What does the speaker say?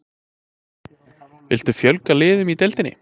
Viltu fjölga liðum í deildinni?